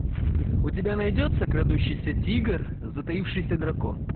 у тебя найдется крадущийся тигр затаившийся дракон